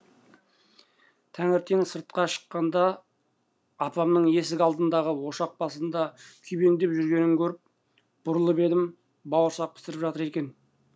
таңертең сыртқа шыққанда апамның есік алдындағы ошақ басында күйбеңдеп жүргенін көріп бұрылып едім бауырсақ пісіріп жатыр екен